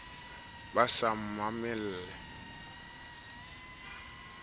ba sa mamele le ho